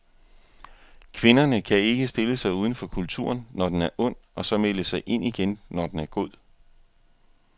Kvinderne kan ikke stille sig uden for kulturen, når den er ond, og så melde sig ind igen, når den er god.